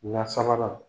La sabanan